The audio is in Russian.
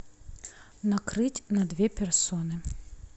накрыть на две персоны